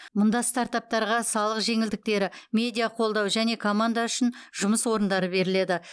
мұнда стартаптарға салық жеңілдіктері медиа қолдау және команда үшін жұмыс орындары беріледі